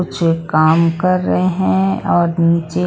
कुछ काम कर रहे हैं और निचे--